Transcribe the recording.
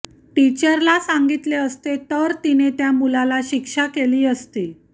टीचरला सांगितले असते तर तिने त्या मुलाला शिक्षा केली असती